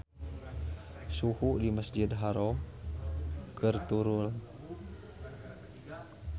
Suhu di Masjidil Haram keur turun